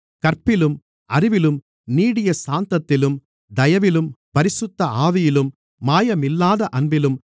கற்பிலும் அறிவிலும் நீடிய சாந்தத்திலும் தயவிலும் பரிசுத்த ஆவியிலும் மாயமில்லாத அன்பிலும்